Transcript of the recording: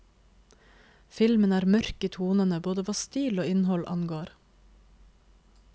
Filmen er mørk i tonene både hva stil og innhold angår.